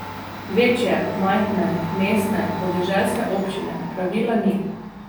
Večje, majhne, mestne, podeželske občine, pravila ni.